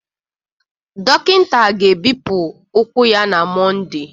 Dọkịta ga-ebipụ ụkwụ ya na Mọnde